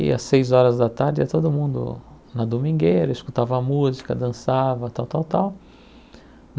Ia seis horas da tarde, ia todo mundo na domingueira, escutava música, dançava, tal, tal, tal.